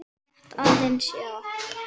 Rétt aðeins, já.